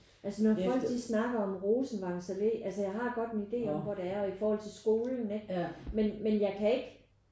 Altså når folk de snakker om Rosenvangsalle altså jeg har godt en ide om hvor det er og i forhold til skolen ikke men men jeg kan ikke